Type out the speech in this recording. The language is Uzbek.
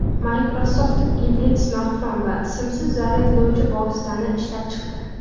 Microsoft gibrid smartfon va simsiz zaryadlovchi vositani ishlab chiqdi.